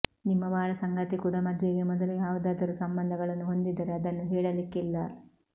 ನಿಮ್ಮ ಬಾಳಸಂಗಾತಿ ಕೂಡಾ ಮದುವೆಗೆ ಮೊದಲೇ ಯಾವುದಾದರೂ ಸಂಬಂಧಗಳನ್ನು ಹೊಂದಿದ್ದರೆ ಅದನ್ನು ಹೇಳಲಿಕ್ಕಿಲ್ಲ